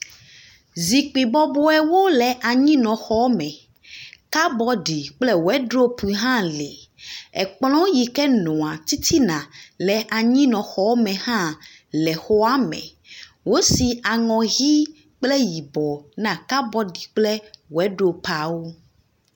Zikpui bɔbɔewo le anyinɔxɔ me, kabɔɖi kple wedzropu hã li. Ekplɔ yi ke nɔa titina le anyinɔxɔa me hã le xɔa me. Wosi aŋɔ ʋi kple yibɔ na kabɔɖi kple wedzropuawo.